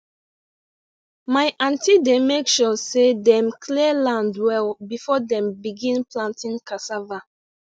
my aunty dey make sure say dem clear land well before dem begin planting cassava